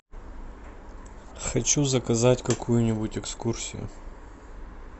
хочу заказать какую нибудь экскурсию